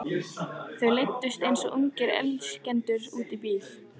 Þau leiddust eins og ungir elskendur út í bíl.